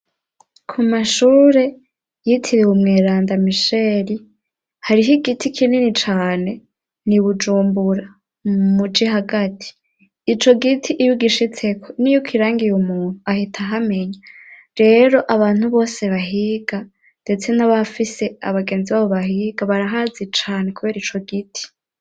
Ku mashure yitiriwe Mweranda Misheli, hariho igiti kinini cane, n'i Bujumbura mumuji hagati, ico giti iyo ugishitseko niyo ukirangiye umuntu ahita ahamenya, rero abantu bose bahiga ndetse n'abafise abagenzi babo bahiga barahazi cane kubera ico giti.